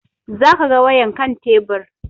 Za ka ga wayan kan tebur